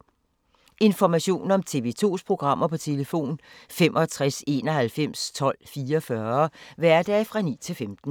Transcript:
Information om TV 2's programmer: 65 91 12 44, hverdage 9-15.